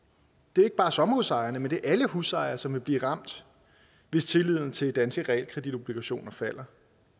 det er ikke bare sommerhusejerne men alle husejere som vil blive ramt hvis tilliden til de danske realkreditobligationer falder